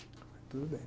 Tudo bem.